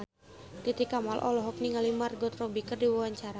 Titi Kamal olohok ningali Margot Robbie keur diwawancara